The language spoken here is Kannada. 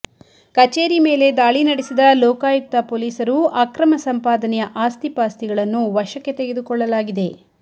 ಕಚೇರಿ ಮೇಲೆ ದಾಳಿ ನಡೆಸಿದ ಲೋಕಾಯುಕ್ತ ಪೊಲೀಸರು ಅಕ್ರಮ ಸಂಪಾದನೆಯ ಆಸ್ತಿ ಪಾಸ್ತಿಗಳನ್ನು ವಶಕ್ಕೆ ತೆಗೆದುಕೊಳ್ಳಲಾಗಿದೆ